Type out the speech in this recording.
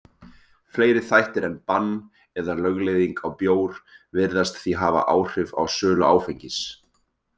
Fleiri þættir en bann eða lögleiðing á bjór virðast því hafa áhrif á sölu áfengis.